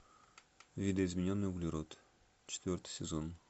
видоизмененный углерод четвертый сезон